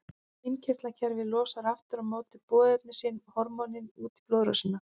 Innkirtlakerfið losar aftur á móti boðefni sín, hormónin, út í blóðrásina.